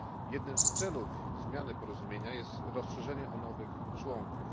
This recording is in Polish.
Jednym z celów zmiany tego porozumienia jest rozszerzenie o nowych członków.